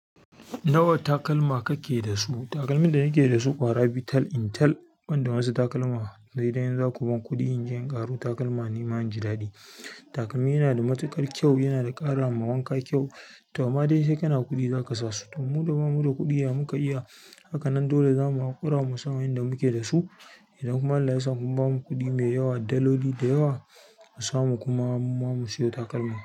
Nawa takalma kake da su? Takalmin da nake da su kwara biyu tal in tal, banda wasu takalma sai dai in zaku bani kuɗi in je ƙaro takalma ni ma inji Ladi. Takalmi yana da matukar kyau yana karama wanka kyau to amma dai sai kana kuɗi zaka sa su. To mu da ba mu da kuɗi ya muka iya, hakanan dole zamu haƙura musu a yayin da muke da su. Idan kuma Allah ya sa sun bamu kuɗi mai yawa, daloli da yawa mu samu kuma mu ma musiyo takalman.